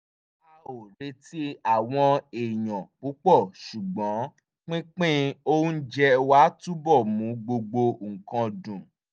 a ò retí àwọn èèyàn púpọ̀ ṣùgbọ́n pínpín oúnjẹ wa túbọ̀ mú gbogbo nǹkan dùn